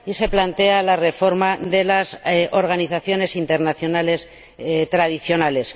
y se plantea la reforma de las organizaciones internacionales tradicionales.